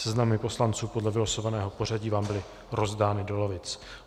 Seznamy poslanců podle vylosovaného pořadí vám byly rozdány do lavic.